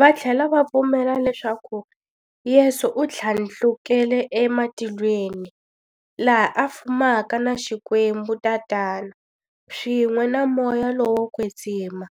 Vathlela va pfumela leswaku Yesu u thlandlukele ematilweni, laha a fumaka na Xikwembu-Tatana, swin'we na Moya lowo kwetsima,